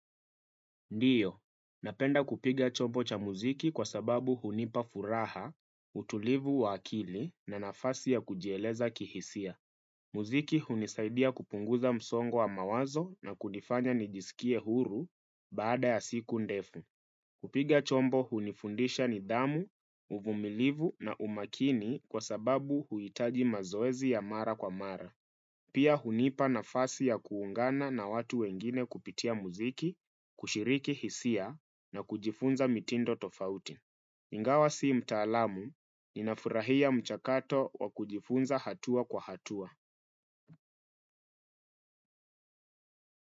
Ndiyo, napenda kupiga chombo cha mziki kwa sababu hunipa furaha, utulivu wa akili na nafasi ya kujieleza kihisia. Mziki hunisaidia kupuguza msogo wa mawazo na kunifanya nijisikie huru. Baada ya siku ndefu. Kupiga chombo hunifundisha nidhamu, uvumilivu na umakini kwa sababu huhitaji mazoezi ya mara kwa mara. Pia, hunipa nafasi ya kuungana na watu wengine kupitia mziki, kushiriki hisia na kujifunza mitindo tofauti. Igawa si mtaalamu. Ninafurahia mchakato wa kujifunza hatua kwa hatua.